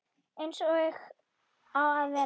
Eins og á að vera.